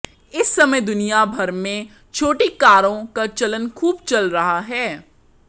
इस समय दुनिया भर में छोटी कारों का चलन खुब चल रहा है